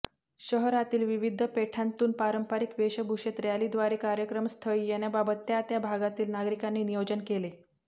शहरातील विविध पेठांतून पारंपरिक वेशभूषेत रॅलीद्वारे कार्यक्रमस्थळी येण्याबाबत त्या त्या भागातील नागरिकांनी नियोजन केले